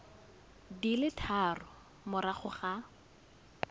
di le tharo morago ga